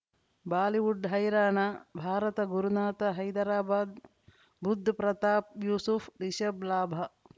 Bollywood ಹೈರಾಣ ಭಾರತ ಗುರುನಾಥ ಹೈದರಾಬಾದ್ ಬುಧ್ ಪ್ರತಾಪ್ ಯೂಸುಫ್ ರಿಷಬ್ ಲಾಭ